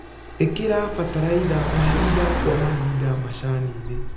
ĩkĩra bataraitha mahinda kwa mahinda macaninĩ.